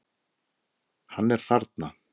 Hann er þarna.